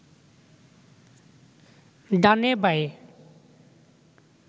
ডানে বাঁয়ে